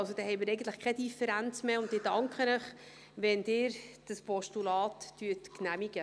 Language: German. Also, eigentlich haben wir dann keine Differenz mehr, und ich danke Ihnen, wenn Sie dieses Postulat genehmigen.